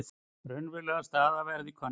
Raunveruleg staða verði könnuð